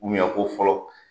ko fɔlɔ